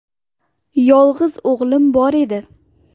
Yolg‘iz o‘g‘lim bor edi.